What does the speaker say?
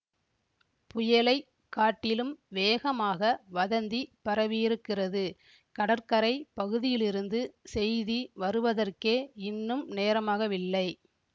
புயலை காட்டிலும் வேகமாக வதந்தி பரவியிருக்கிறது கடற்கரை பகுதியிலிருந்து செய்தி வருவதற்கே இன்னும் நேரமாகவில்லை